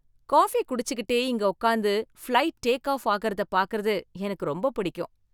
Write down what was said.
Coffee குடிச்சிகிட்டே இங்க உக்காந்து, ஃப்ளைட் டேக் ஆஃப் ஆகுறதை பாக்கறது எனக்கு ரொம்ப பிடிக்கும்.